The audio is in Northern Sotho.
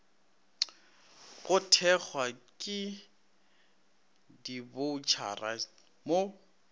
go thekgwa ke diboutšhara mo